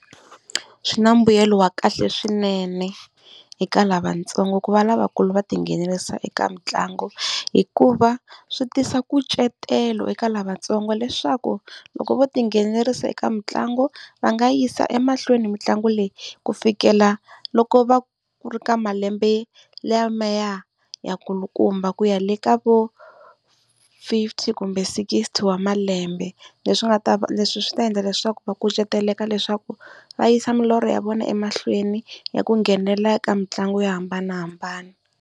Swi na mbuyelo wa kahle swinene eka lavatsongo, ku va lavakulu va tinghenelerisa eka mitlangu. Hikuva swi tisa kucetelo eka lavatsongo leswaku loko vo tinghenelerisa eka mitlangu va nga yisa emahlweni mitlangu leyi, ku fikela loko va ku ri ka malembe lamaya yakulukumba ku ya le ka vo fifty kumbe sixty wa malembe. Leswi nga ta leswi swi ta endla leswaku va kucetelaka leswaku va yisa milorho ya vona emahlweni ya ku nghenelela eka mitlangu yo hambanahambana.